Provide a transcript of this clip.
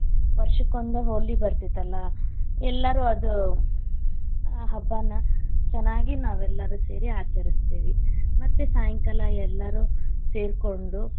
ವರ್ಷಕೊಂದ ಹೋಲಿ ಬರ್ತಿತ್ತಲ್ಲಾ, ಎಲ್ಲಾರು ಅದು ಆ ಹಬ್ಬಾನ ಚೆನ್ನಾಗಿ ನಾವೆಲ್ಲಾರು ಸೇರಿ ಆಚರಿಸ್ತೀವಿ ಮತ್ತೆ ಸಾಯಂಕಾಲ ಎಲ್ಲಾರು ಸೇರಕೊಂಡು.